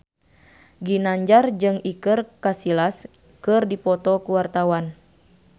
Ginanjar jeung Iker Casillas keur dipoto ku wartawan